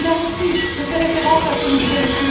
Là aussi, je fais référence à ce que nous disait M.